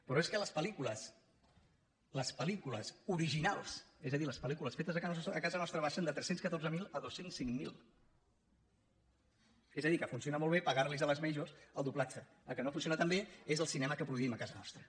però és que les pellícules originals és a dir les pel·lícules fetes a casa nostra baixen de tres cents i catorze mil a dos cents i cinc mil és a dir que funciona molt bé pagar los a les majors el doblatge el que no funciona tan bé és el cinema que produïm a casa nostra